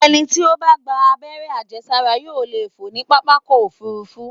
Ẹni tí ó bá gba àberẹ́ àjẹsára yóò lè fò ní pápákọ̀-òfurufú.